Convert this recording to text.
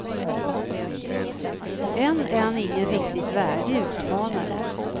Än är han ingen riktigt värdig utmanare.